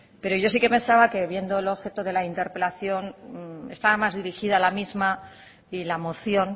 pero yo sí que pensaba que viendo el objeto de la interpelación está más dirigida a la misma y la moción